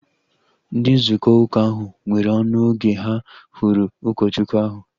Ndị nzukọ uka ahu nwere ọṅụ oge ha hụrụ ụkọchukwu ahu